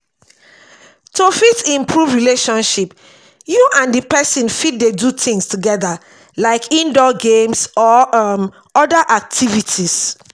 to fit improve relationship you and di person fit dey do things together like indoor games or um oda activities